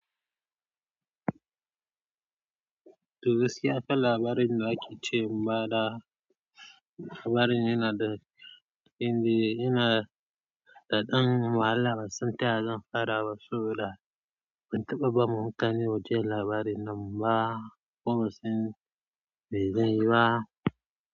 Toh gaskiya kai labarin da kike cewa ba da labarin yana da, inda yana da ɗan wahala. Ban san taya zan fara saboda ban taɓa ba. Mutane wajen labari nan ba, kuma sai mai zai yi ba.